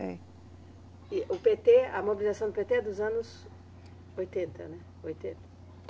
É. E o PêTê, a mobilização do PêTê é dos anos oitenta, né? Oitenta?